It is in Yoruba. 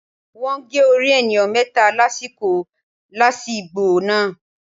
Wọ́n gé orí ènìyàn méta lásìkò làásìgbò náà